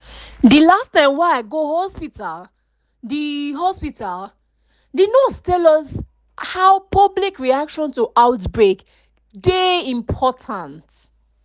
de last time wey i go hospitalthe hospitalthe nurse tell us how public reaction to outbreak dey important